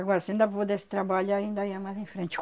Agora se ainda pudesse trabalhar, ainda ia mais em frente.